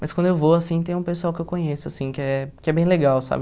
Mas quando eu vou, assim, tem um pessoal que eu conheço, assim, que é que é bem legal, sabe?